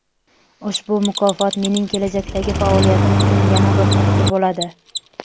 Ushbu mukofot mening kelajakdagi faoliyatim uchun yana bir turtki bo‘ladi.